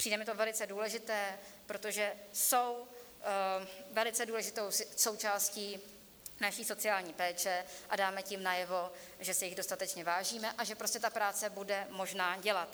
Přijde mi to velice důležité, protože jsou velice důležitou součástí naší sociální péče a dáme tím najevo, že si jich dostatečně vážíme a že prostě tu práci bude možné dělat.